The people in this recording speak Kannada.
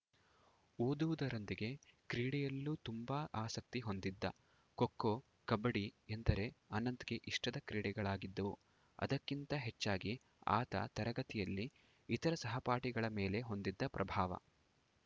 ಓದುವುದರೊಂದಿಗೆ ಕ್ರೀಡೆಯಲ್ಲೂ ತುಂಬಾ ಆಸಕ್ತಿ ಹೊಂದಿದ್ದ ಖೋಖೋ ಕಬಡ್ಡಿ ಎಂದರೆ ಅನಂತಗೆ ಇಷ್ಟದ ಕ್ರೀಡೆಗಳಾಗಿದ್ದವು ಅದಕ್ಕಿಂತ ಹೆಚ್ಚಾಗಿ ಆತ ತರಗತಿಯಲ್ಲಿ ಇತರ ಸಹಪಾಠಿಗಳ ಮೇಲೆ ಹೊಂದಿದ್ದ ಪ್ರಭಾವ